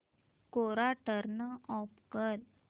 कोरा turn off कर